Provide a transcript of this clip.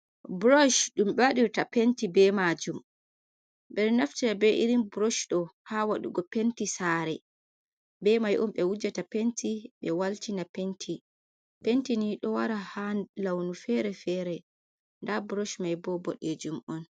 Brosh ɗum ɓe waɗirta penti be majum ɓeɗo naftira be irin brosh ɗo ha waɗugo penti sare be mai un ɓe wujata penti ɓe walti na penti, penti ni ɗo wara ha launu fere-fere nda brosh mai bo boɗejum on.